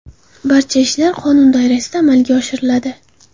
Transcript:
Barcha ishlar qonun doirasida amalga oshiriladi.